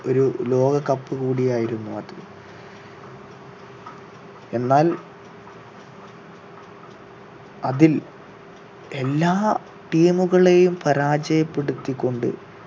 ഒരു ലോകകപ്പ് കൂടിയായിരുന്നു അത് എന്നാൽ അതിൽ എല്ലാ team കളെയും പരാജയപ്പെടുത്തികൊണ്ട്